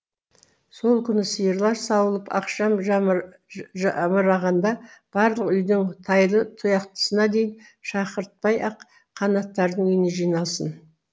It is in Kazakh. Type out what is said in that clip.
сол күні сиырлар сауылып ақшам жамырағанда барлық үйдің тайлы таяқтысына дейін шақыртпай ақ қанаттардың үйіне жиналсын